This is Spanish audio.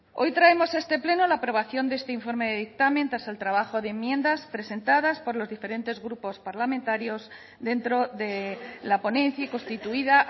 hoy traemos a este pleno la aprobación de este informe de dictamen tras el trabajo de enmiendas presentadas por los diferentes grupos parlamentarios dentro de la ponencia constituida